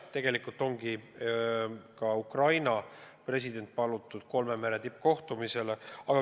Ja tegelikult ongi ka Ukraina president palutud kolme mere tippkohtumisele.